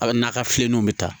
A na ka fileninw bɛ taa